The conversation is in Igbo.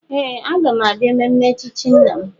Ee! Aga m abịa mmemme echichi nna m.